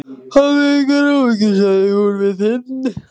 Hafðu engar áhyggjur, sagði hún við Finn.